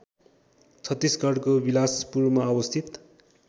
छत्तिसगढको बिलासपुरमा अवस्थित